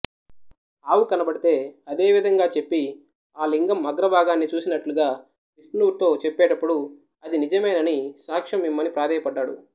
ఆవు కనపడితే అదే విధంగా చెప్పిఆ లింగం అగ్ర భాగాన్ని చూసినట్లుగావిష్ణువుతో చెప్పేటప్పుడుఅది నిజమేనని సాక్ష్యం ఇమ్మని ప్రాదేయపడ్డాడు